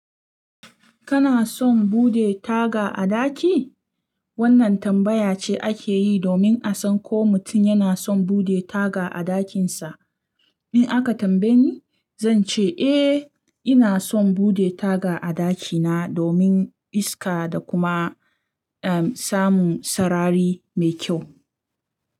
Kana son bude taga a daki? Wannan tambaya ce ake yi domin a san ko mutum yana son bude taga a ɗakinsa. In aka tambaye ni, zan ce eh, ina son bude taga a ɗakina domin iska da kuma, um, samun sarari mai kyau.